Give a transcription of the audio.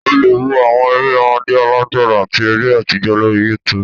ò le wò àwọn eré ọmọde, àgbàlágbà ati eré atijọ lorí YouTube.